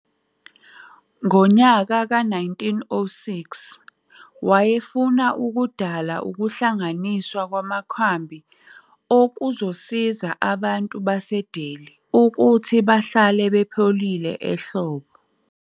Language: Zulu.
Ngo-1906, wayefuna ukudala ukuhlanganiswa kwamakhambi okuzosiza abantu baseDelhi ukuthi bahlale bepholile ehlobo.